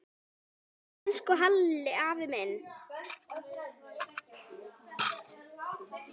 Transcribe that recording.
Elsku Hilli afi minn.